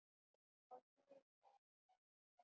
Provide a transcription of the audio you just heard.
Og líður brátt að vetri.